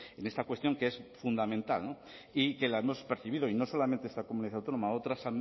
en esta cuestión que es fundamental y que la hemos percibido y no solamente esta comunidad autónoma otras